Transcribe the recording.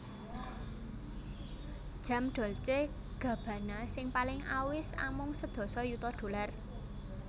Jam Dolce Gabbana sing paling awis amung sedasa yuta dollar